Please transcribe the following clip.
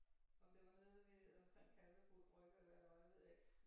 Om det var nede ved omkring Kalvebod Brygge eller hvad det var det ved jeg ikke